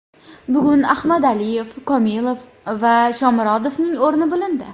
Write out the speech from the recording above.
Bugun Ahmadaliyev, Komilov va Shomurodovning o‘rni bilindi.